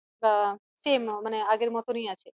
আহ same মানে আগে মতনই আছে